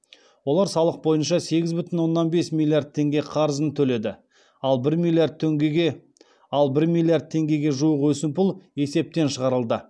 олар салық бойынша сегіз бүтін оннан бес миллиард теңге қарызын төледі ал бір миллиард теңгеге жуық өсімпұл есептен шығарылды